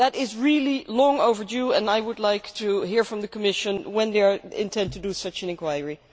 This is really long overdue, and I would like to hear from the Commission when they intend to conduct such an inquiry.